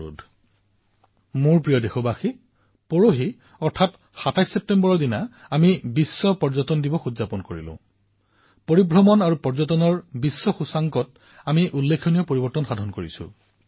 মোৰ মৰমৰ দেশবাসীসকল অলপতে ২৭ ছেপ্টেম্বৰ তাৰিখে বিশ্ব পৰ্যটন দিৱস পালন কৰা হল আৰু বিশ্বৰ কিছুমান দায়িত্বশীল এজেন্সীয়ে পৰ্যটনৰ মূল্যায়নো কৰে আৰু আপোনালোকে জানি সুখী হব যে ভাৰতে ভ্ৰমণ আৰু পৰ্যটন প্ৰতিযোগিতামূলক মূল্যাংকনত যথেষ্ট অগ্ৰগতি লাভ কৰিছে